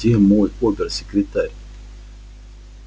где мой обер-секретарь